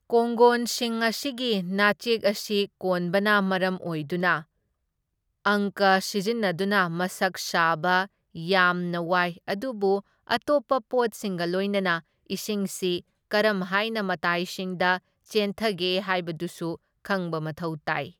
ꯀꯣꯡꯒꯣꯟꯁꯤꯡ ꯑꯁꯤꯒꯤ ꯅꯥꯆꯦꯛ ꯑꯁꯤ ꯀꯣꯟꯕꯅ ꯃꯔꯝ ꯑꯣꯏꯗꯨꯅ ꯑꯪꯀ ꯁꯤꯖꯤꯟꯅꯗꯨꯅ ꯃꯁꯛ ꯁꯥꯕ ꯌꯥꯝꯅ ꯋꯥꯏ ꯑꯗꯨꯕꯨ ꯑꯇꯣꯞꯄ ꯄꯣꯠꯁꯤꯡꯒ ꯂꯣꯏꯅꯅ ꯏꯁꯤꯡꯁꯤ ꯀꯔꯝ ꯍꯥꯏꯅ ꯃꯇꯥꯏꯁꯤꯡꯗ ꯆꯦꯟꯊꯒꯦ ꯍꯥꯏꯕꯗꯨꯁꯨ ꯈꯪꯕ ꯃꯊꯧ ꯇꯥꯏ꯫